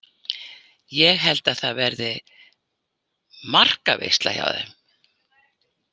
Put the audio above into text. Ég held að það verði markaveisla hjá þeim.